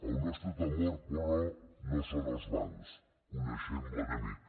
el nostre temor però no són els bancs coneixem l’enemic